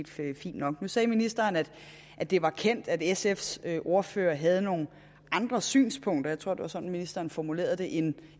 set fint nok nu sagde ministeren at at det var kendt at sfs ordfører havde nogle andre synspunkter jeg tror det var sådan ministeren formulerede det end